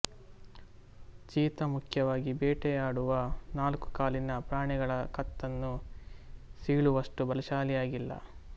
cheetah ಮುಖ್ಯವಾಗಿ ಬೇಟೆಯಾಡುವ ನಾಲ್ಕು ಕಾಲಿನ ಪ್ರಾಣಿಗಳ ಕತ್ತನ್ನು ಸೀಳುವಷ್ಟು ಬಲಶಾಲಿಯಾಗಿಲ್ಲ